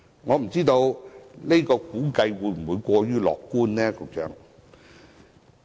我不知道這個估計會否過於樂觀，局長？